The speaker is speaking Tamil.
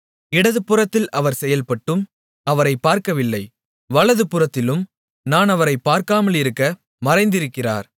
இடதுபுறத்தில் அவர் செயல்பட்டும் அவரைப் பார்க்கவில்லை வலது புறத்திலும் நான் அவரைக் பார்க்காமலிருக்க மறைந்திருக்கிறார்